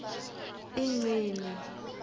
ingcini